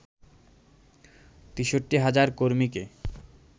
৬৩,০০০ কর্মীকে